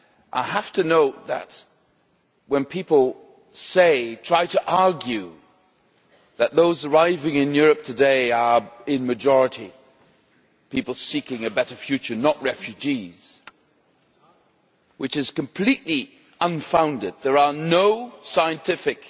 I have to note that when people try to argue that those arriving in Europe today are, in the majority, people seeking a better future, not refugees which is completely unfounded, there are no scientific